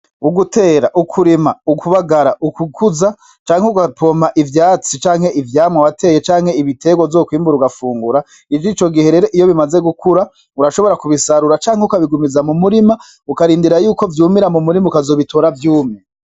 Ugutera, ukurima, ukubagara, ukukuza canke ugapoma ivyatsi canke ivyamwa wateye canke ibitegwa uzokwimbura ugafungura ivyicogihe rero iyo bimaze gukura urashobora kubisarura canke ukabigumiza mu murima ukarindirako vyumira mu murima ukazobitora vyumye.